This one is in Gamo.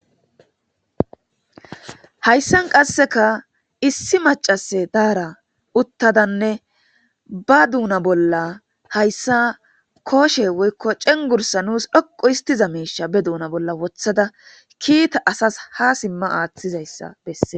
Hayssan qasseka issi maccase daara uttadanne ba duuna bolla hayssa kooshe woykko cenggursa nuus dhoqqu histiza meiisha be duuna bolla wothada kiita asas ha simma aaththizayssa besse.